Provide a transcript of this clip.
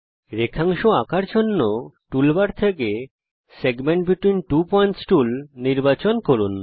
রেখাংশ আঁকার জন্যে টুলবার থেকে segment between two points tool নির্বাচন করুন